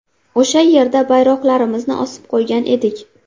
O‘sha yerda bayroqlarimizni osib qo‘ygan edik.